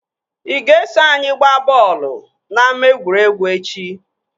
Ị ga-eso anyị ihe gbaa bọọlụ na ama egwuregwu echi?